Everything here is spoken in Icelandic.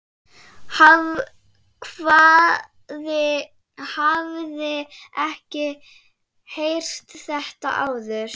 Hafði ekki heyrt þetta áður.